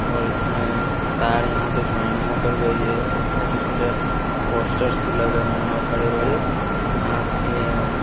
और इसमें तार यहां से जॉइनिंग होकर गई है और छोटे-छोटे पोस्टर्स भी लगे हुए हैं और हरे-भरे घांस भी है।